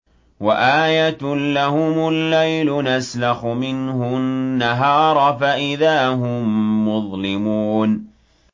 وَآيَةٌ لَّهُمُ اللَّيْلُ نَسْلَخُ مِنْهُ النَّهَارَ فَإِذَا هُم مُّظْلِمُونَ